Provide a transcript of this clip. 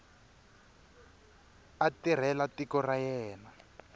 a tirhela tiko ra yena